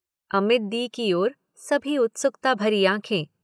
अमित दी की ओर सबकी उत्सुकता भरी आँखें।